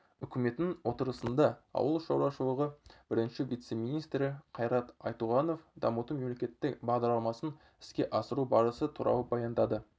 үкіметінің отырысында ауыл шаруашылығы бірінші вице-министрі қайрат айтуғанов дамыту мемлекеттік бағдарламасын іске асыру барысы туралы баяндады